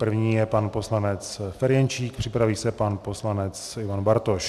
První je pan poslanec Ferjenčík, připraví se pan poslanec Ivan Bartoš.